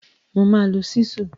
Mo máa lo ṣísù.